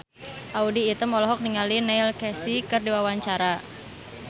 Audy Item olohok ningali Neil Casey keur diwawancara